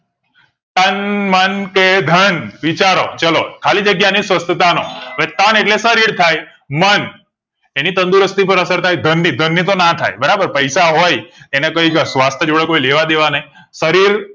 તન મન કે ધન વિચારો ચાલો ખાલી જગ્યા ની સવ્યથાતા નો તન એટલે શરીર થાય મન એની તંદુરસ્તી પર અસર થાય ધન ધણી તો ના થાય બરાબર પૈસા હોય અને કઈ ક સ્વાસ્થ જોડે કઈ લેવા દે વા નહીં શરીર